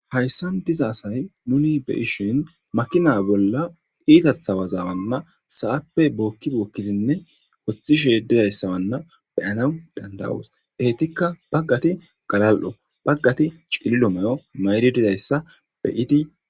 hayssan diza asay nuni be7ishin makina bolla iitatha waza maan sa7appe bookki bokkidinne woththishe dizayssa manna beyana danda7oos heytikka baggati galal7o baggati cililo mayo mayidi dizayssa be7idi de7osi